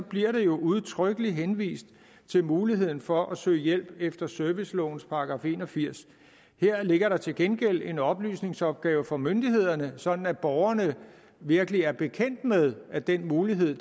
bliver der jo udtrykkeligt henvist til muligheden for at søge hjælp efter servicelovens § en og firs her ligger der til gengæld en oplysningsopgave for myndighederne sådan at borgerne virkelig er bekendt med at den mulighed